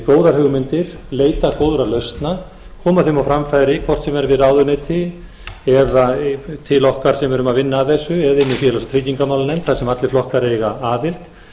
góðar hugmyndir leita góðra lausna koma þeim á framfæri hvort sem er við ráðuneyti eða til okkar sem erum að vinna að þessu eða inn í félags og tryggingamálanefnd þar sem allir flokkar eiga aðild